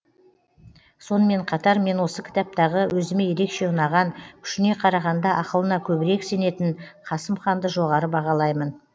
сонымен қатар мен осы кітаптағы өзіме ерекше ұнаған күшіне қарағанда ақылына көбірек сенетін қасым ханды жоғары бағалаймын